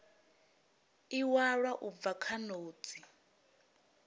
iwalwa u bva kha notsi